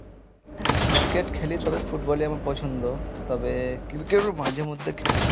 হ্যাঁ cricket খেলি তবে football ই আমার পছন্দ তবে cricket ও মাঝে মধ্যে খেলি